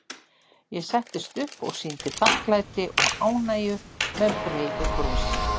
Ég settist upp og sýndi þakklæti og ánægju með breiðu brosi.